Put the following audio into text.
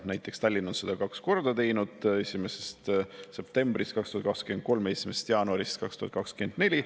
Näiteks Tallinn on seda kaks korda teinud: 1. septembrist 2023 ja 1. jaanuarist 2024.